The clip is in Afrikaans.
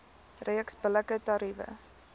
reeks billike tariewe